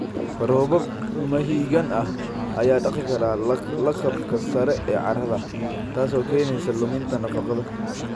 Roobab mahiigaan ah ayaa dhaqi kara lakabka sare ee carrada, taasoo keenaysa luminta nafaqada.